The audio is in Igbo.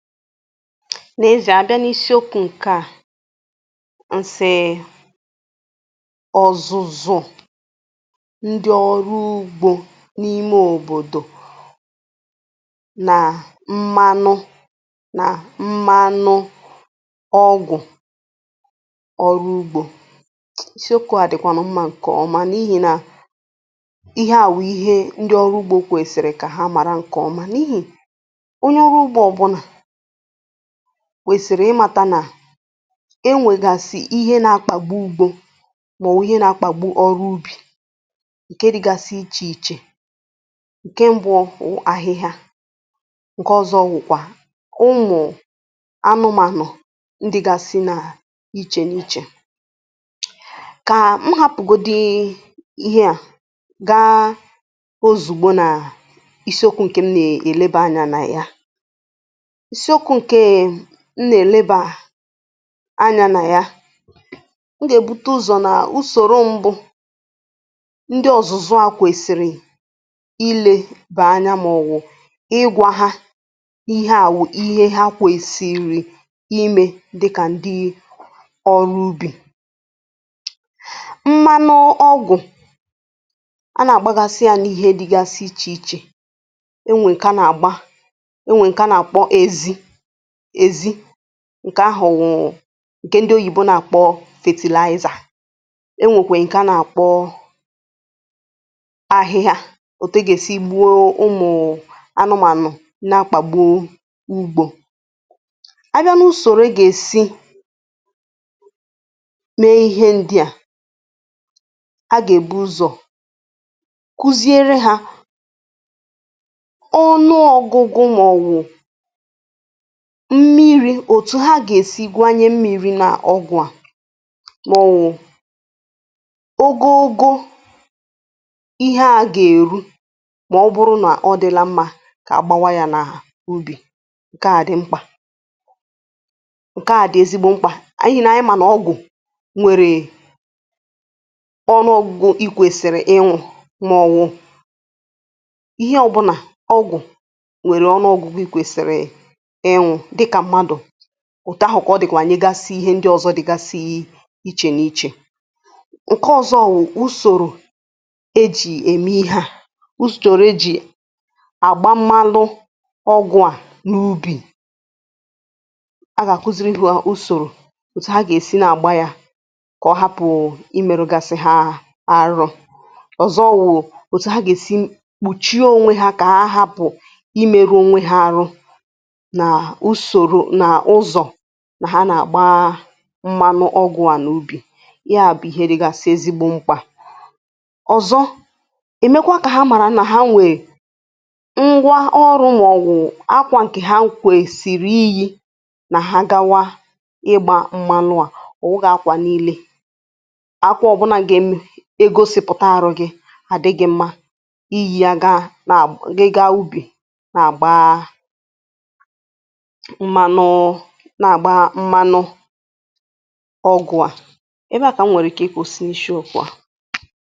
n’ezì à abịa n’isiokwu̇ ǹke à, nsì ọ̀zụ̀zụ̀ ndi ọrụ ugbȯ n’ime òbòdò nà mmanụ nà mmanụ ọgwụ̀ ọrụ ugbȯ. isiokwu̇ à dị̀kwànụ̀ mmȧ ǹkèọma n’ihi nà ihe à wụ̀ ihe ndi ọrụ ugbȯ kwèsìrì kà ha màra ǹkèọma n’ihi onye ọrụ ugbȯ ọ̀bụnà wèsị̀rị̀ ịmȧta nà enwègàsị̀ ihe na-akpàgbụ ugbȯ mà ọ̀wụ̀ ihe na-akpàgbu ọrụ ubì ǹke dịgasi ichè ichè, ǹke mbụ̇ ahịhịa, ǹke ọ̀zọ wụ̀kwà ụmụ̀ anụmànụ̀ ndịgȧsị nà ichè n’ichè. Kà m hapụ̀godu ihe à gaa ozùgbo nà isiokwu ǹkè m nà-èlebe anyȧ nà ya ịsị okwu nkea m nà-èlebà anya nà ya m gà-èbute ụ̀zọ nà usòro mbụ̇ ndị ọ̀zụ̀zụ̀ a kwèsìrì ilė bè anya m ọ̀wụ̀ ịgwȧ ha ihe àwụ̀ ihe ha kwèsì iri̇ imė dịkà ndị ọrụ ubì mmanụ ọgụ̀ a nà-àgbagasi ya n’ihe dịgasị ichè ichè enwè ǹkà nà-àgba enwè ǹkà nà-àkpọ ezi èzi ǹkè ahụ̀ wụ̀ ǹkè ndị oyìbo nà-àkpọ fertilizer, e nwèkwè ǹkè a nà-àkpọ ahịhịa òtu gà-èsi gbuo ụmụ̀ anụmànụ̀ na-akpàgbo ugbȯ. A bịa n’usòrò i gà-èsi mee ihe ndi a a gà-èbu ụzọ̀ kụziere hȧ ọnụ ọ̇gụ̇gụ mụ̀ ọ̀bụ mmi̇ri̇ òtù ha gà-èsi gwanye mmiri̇ n’ọgwụ̀ a màọwụ̀ ogogo ihe a gà-èru màọbụrụ nà ọ dịla mmȧ kà agbȧwa yȧ n’ahà ubì nke a di mkpà nke a di ezigbo mkpà anyị̇ nà anyị̇ mà nà ọgwụ̀ nwèrè ọ n’ọgwụ̀gwọ̀ i kwèsìrì ịñwụ̇ mà ọwụ ihe ọ̀bụ̀nà ọgwụ̀ nwèrè ọnụọ̇gwụ̀ i kwèsìrì ịñwụ̇ dịka mmadụ kà ọ dị̀kwà anyị gasi ihe ndị ọ̀zọ dị gȧ si ihe ichè n’ichè. Nke ọ̀zọ wụ̀ usòrò ejì ème ihė a usòrò ejì àgba mmalụ ọgwụ a n’ubì a gà-àkụzịrị ihė ha ụzọ usòrò òtù ha gà-èsi nà-àgba ya kà ọ hapụ̀ imėru̇gȧsị ha arọ. Ọzọ wụ̀ òtù ha gà-èsi kpùchie ònwe ha kà apụ imėru̇ ònwe ha ahụ, nà usoro na ụzọ ha nà-àgba mmanụ ọgwụ̀ à n’ubì, ya bụ̇ hėrėgȧ sị̀ezi gbu̇ mkpà. ọ̀zọ èmekwa kà ha màrà nà ha nwè ngwa ọrụ̇ màọ̀wụ̀ akwȧ ǹkè ha kwè sìrì iyi nà ha gawa ịgbȧ mmanụ à, ọ̀wụghị akwȧ niilė akwȧ ọbụna m gà-em i egosìpụ̀ta àrọ gị̇ àdị gị̇ mma ihi̇ a gaa nà àgba gị gaa ubì na-àgba mmanụ na-agba mmanụ ọgwụ a. ebe a kà m nwèrè ike ị kwụsị n'ịsịokwu a.